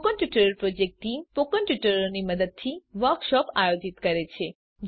spoken tutorial project ટીમ160 spoken ટ્યુટોરીયલો નાં મદદથી વર્કશોપોનું આયોજન કરે છે